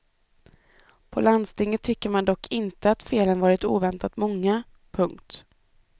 På landstinget tycker man dock inte att felen varit oväntat många. punkt